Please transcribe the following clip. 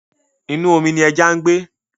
Inú omi ní ẹja ń gbé.